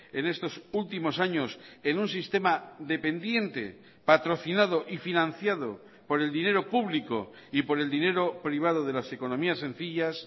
en estos últimos años en un sistema dependiente patrocinado y financiado por el dinero público y por el dinero privado de las economías sencillas